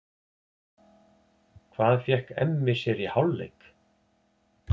Hvað fékk Emmi sér í hálfleik?